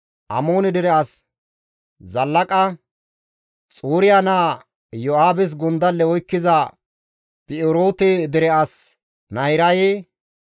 Amoone dere as Zallaqa, Xuriya naa Iyo7aabes gondalle oykkiza Bi7eroote dere as Nahiraye,